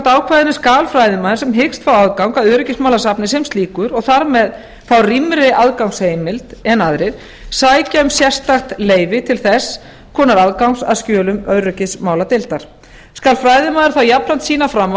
málsgrein skal fræðimaður sem hyggst fá aðgang að öryggismálasafni sem slíkur og þar með fá rýmri aðgangsheimild en aðrir sækja um sérstakt leyfi til þess konar aðgangs að skjölum öryggismáladeildar skal fræðimaður þá jafnframt sýna fram á